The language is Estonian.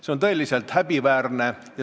See on tõeliselt häbiväärne.